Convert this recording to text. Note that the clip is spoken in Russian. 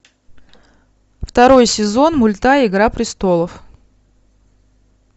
второй сезон мульта игра престолов